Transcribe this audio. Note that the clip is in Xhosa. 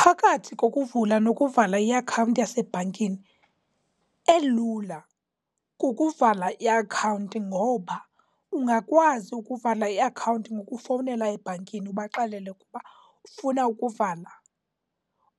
Phakathi kokuvula nokuvala iakhawunti yasebhankini, elula kukuvala iakhawunti ngoba ungakwazi ukuvala iakhawunti ngokufowunela ebhankini ubaxelele ukuba ufuna ukuvala.